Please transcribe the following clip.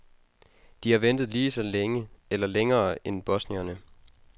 De har ventet lige så længe eller længere end bosnierne.